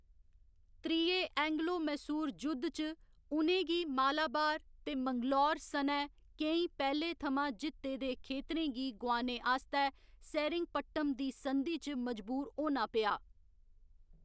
त्रिये एंग्लो मैसूर जुद्ध च, उ'नें गी मालाबार ते मैंगलोर सनै केईं पैह्‌लें थमां जित्ते दे खेतरें गी गोआने आस्तै सेरिंगपट्टम दी संधि च मजबूर होना पेआ।